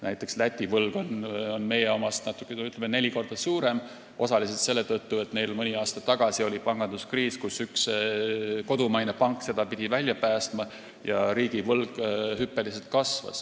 Näiteks, Läti võlg on meie omast, ütleme, neli korda suurem osaliselt selle tõttu, et mõni aasta tagasi oli neil panganduskriis, kust üks kodumaine pank pidi nad välja päästma, ja riigivõlg kasvas hüppeliselt.